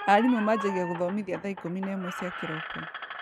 Arimũ majagia gũthomithia thaa ikũmi na ĩmwe cia kĩroko.